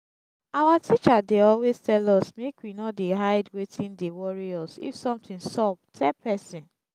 our teacher dey always tell us make we no dey hide wetin dey worry us if something sup tell person